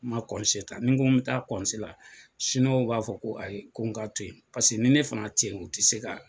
N ma ta ni n ko n bɛ taa la b'a fɔ ko ayi ko n ka to yen ni ne fana teyi u ti se k'a kɛ.